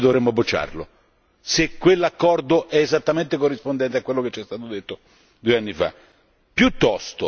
Qual è la ragione per cui dovremmo bocciarlo, se quell'accordo è esattamente corrispondente a quello che ci è stato detto due anni fa?